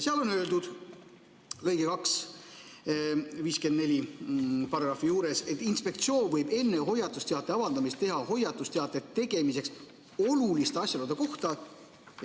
Seal on § 543 lõikes 2 öeldud: "Inspektsioon võib enne hoiatusteate avaldamist teha hoiatusteate tegemiseks oluliste asjaolude kohta ...